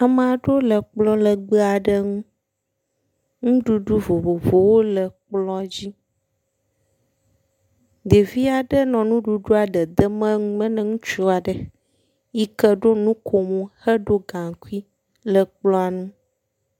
Amea ɖewo le kplɔ legbe aɖe ŋu, nuɖuɖu vovovowo le kplɔ dzi. Ɖevi aɖe nɔ nuɖuɖua ɖe dem nume ne ŋutsu aɖe yike ɖo nukomo, heɖo gaŋkui le kplɔa nu.